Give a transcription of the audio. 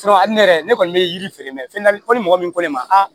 ne yɛrɛ ne kɔni bɛ yiri feere mɛn fɛn fɔ ni mɔgɔ min ko ne ma